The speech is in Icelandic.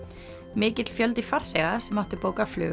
mikill fjöldi farþega sem áttu bókað flug